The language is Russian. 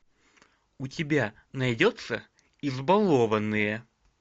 у тебя найдется избалованные